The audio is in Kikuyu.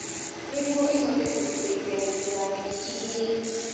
Nĩguo ĩhote kũmũteitha gũkua nyeki ĩriĩ.